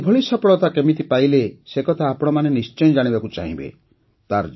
ସେ ଏଭଳି ସଫଳତା କେମିତି ପାଇଲେ ସେ କଥା ଆପଣମାନେ ନିଶ୍ଚୟ ଜାଣିବାକୁ ଚାହିଁବେ